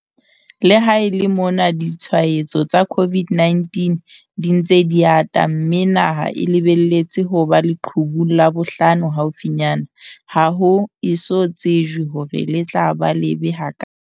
Le ha e le mona ditshwaetso tsa COVID-19 di ntse di ata mme naha e lebelletse ho ba leqhubung la bohlano haufinyana, ha ho eso tsejwe hore le tla ba lebe ha kae.